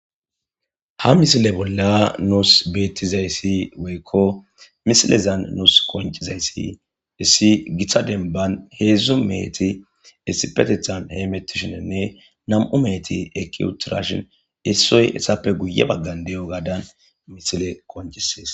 ha misile bolla nuus beettizayssi weykko misilezan nuus qoncizayssi issi giththa denban heedzdzu meeti issipetethan heemettishinenne nam7u meeti ekiutirashin issoy essappe guye baggan de7o gaadan misile qoncisees